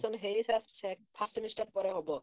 admission ହେଇଯାଇଥିଲା first semester ପରେ ହବ।